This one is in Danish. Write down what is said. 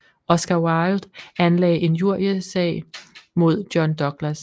Oscar Wilde anlagde injriesag mod John Douglas